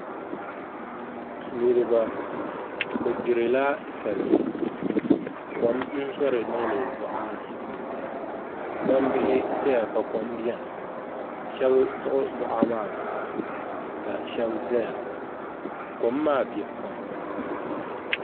Niraba bi gbirila salima kom zori n niŋdi boɣa ni gbambihi ʒɛya ka kom biɛni shab siɣi boɣa maa puuni ka shab ʒɛya kom maa biɛ pam